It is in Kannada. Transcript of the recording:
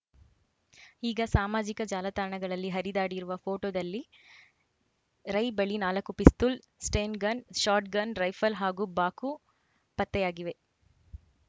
ಈಗ ಸಾಮಾಜಿಕ ಜಾಲತಾಣಗಳಲ್ಲಿ ಹರಿದಾಡಿರುವ ಫೋಟೋದಲ್ಲಿ ರೈ ಬಳಿ ನಾಲ್ಕು ಪಿಸ್ತೂಲ್‌ ಸ್ಟೆನ್‌ಗನ್‌ ಶಾಟ್‌ಗನ್‌ ರೈಫಲ್‌ ಹಾಗೂ ಬಾಕು ಪತ್ತೆಯಾಗಿವೆ